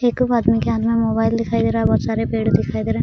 एक कगो आदमी के हाथ में मोबाइल दिखाई दे रहा है बहोत सारे पेड़ दिखाई दे रहे हैं।